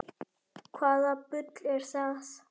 Hvaða bull er það?